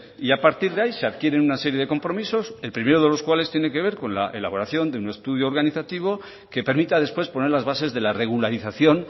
y a partir de ahí se adquiere una serie de compromisos el primero de los cuales tiene que ver con la elaboración de un estudio organizativo que permita después poner las bases de la regularización